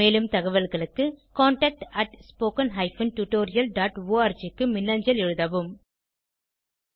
மேலும் தகவல்களுக்கு contactspoken tutorialorg க்கு மின்னஞ்சல் எழுதவும்